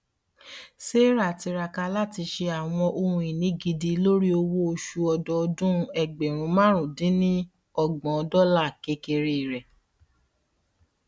sarah tiraka lati ṣe awọn ohunini gidi lori owooṣu ọdọọdun ẹgbẹrún máàrún din ní ọgbọn dọlà kekere rẹ